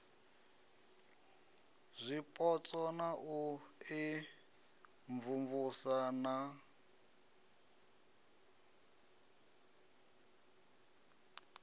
zwipotso na u imvumvusa na